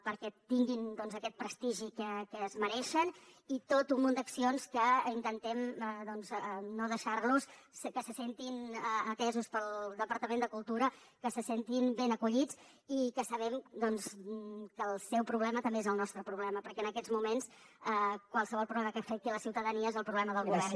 perquè tinguin aquest prestigi que es mereixen i tot un munt d’accions que intentem no deixar los que se sentin atesos pel departament de cultura que se sentin ben acollits i que sabem que el seu problema també és el nostre problema perquè en aquests moments qualsevol problema que afecti la ciutadania és el problema del govern